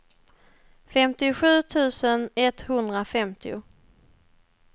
femtiosju tusen etthundrafemtio